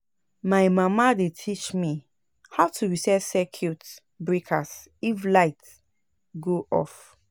My mama dey teach me how to reset circuit breakers if light go off.